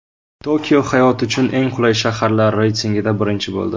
Tokio hayot uchun eng qulay shaharlar reytingida birinchi bo‘ldi.